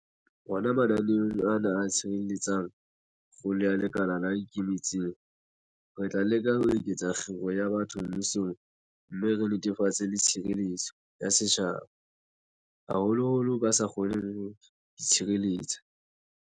Hona mananeong ana a tshehetsang kgolo ya lekala le ikemetseng, re tla leka ho eketsa kgiro ya batho mmusong mme re netefatse le tshireletso ya setjhaba, haholoholo ba sa kgoneng ho itshireletsa.